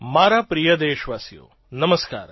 મારા પ્રિય દેશવાસીઓ નમસ્કાર